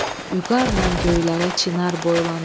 Vüqarla göylərə çinar boylanır.